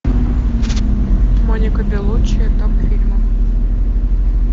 моника белуччи топ фильмов